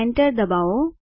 enter ડબાઓ